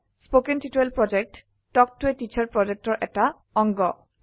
কথন শিক্ষণ প্ৰকল্প তাল্ক ত a টিচাৰ প্ৰকল্পৰ এটা অংগ